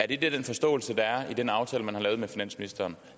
det den forståelse der er i den aftale man har lavet med finansministeren